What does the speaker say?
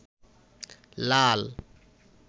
লাল